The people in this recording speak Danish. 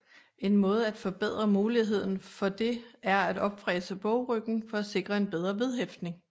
En måde at forbedre muligheden for det er at opfræse bogryggen for at sikre en bedre vedhæftning